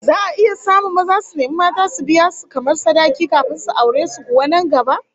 Za'a iya samun maza su nemi mata su biya su kamar sadaki kafin su aure su kuwa nan gaba?